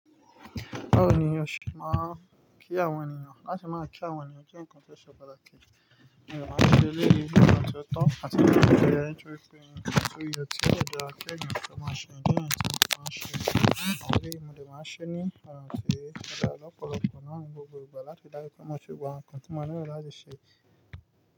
Báwo ni ose máa ń kí àwọn ènìyàn? Láti máa kí àwọn ènìyàn jẹ́ nǹkan tó ṣe pàtàkì. Ìyá máa ń ṣe eléyìí jẹ́ nǹkan tí ó tán àti pé ìyá yẹn ṣọ̀rí pé eyi ni nǹkan tó yẹ kí ọ̀dọ̀ akẹ́gbẹ́ rẹ̀ tó máa ṣe, nǹkan tí wọn máa ń ṣe. Àwọn ọ̀rẹ́ mi ni màá ṣe ni, àwọn ọ̀rẹ́ mi ọ̀pọ̀lọpọ̀ náà ní gbogbo ìgbà láti dára kí wọn tó gbà nǹkan tí wọn ni wọ́n láti ṣe.